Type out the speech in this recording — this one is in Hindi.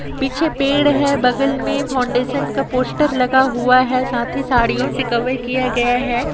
पीछे पेड़ है बगल में फाउंडेशन का पोस्टर लगा हुआ है साथ ही सदियों से कवर किया गया है।